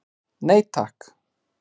Nei takk.